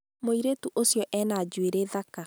mũirĩtu ũcio ena njũĩrĩ thaka